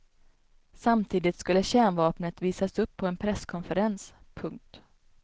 Samtidigt skulle kärnvapnet visas upp på en presskonferens. punkt